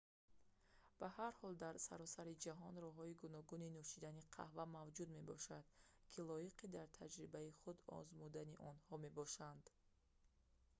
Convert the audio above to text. ба ҳар ҳол дар саросари ҷаҳон роҳҳои гуногуни нӯшидани қаҳва мавҷуд мебошанд ки лоиқи дар таҷрибаи худ озмудани онҳо мебошанд